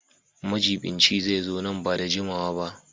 Majiɓinci zai zo nan ba da jimawa ba.